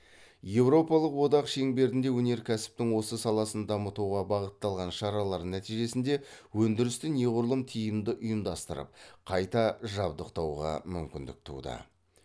еуропалық одақ шеңберінде өнеркәсіптің осы саласын дамытуға бағытталған шаралар нәтижесінде өндірісті неғұрлым тиімді ұйымдастырып қайта жабдықтауға мүмкіндік туды